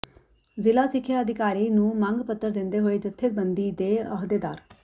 ਜ਼ਿਲ੍ਹਾ ਸਿੱਖਿਆ ਅਧਿਕਾਰੀ ਨੂੰ ਮੰਗ ਪੱਤਰ ਦਿੰਦੇ ਹੋਏ ਜਥੇਬੰਦੀ ਦੇ ਅਹੁਦੇਦਾਰ